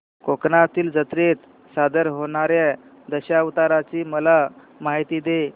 कोकणातील जत्रेत सादर होणार्या दशावताराची मला माहिती दे